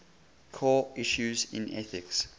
core issues in ethics